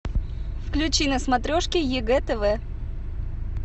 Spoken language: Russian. включи на смотрешке егэ тв